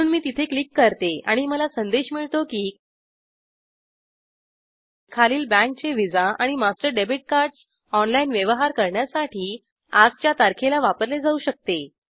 म्हणून मी तिथे क्लिक करते आणि मला संदेश मिळतो की खालील बँकेचे Visa master debit cards online व्यवहार करण्यासाठी आजच्या तारखेला वापरले जाऊ शकते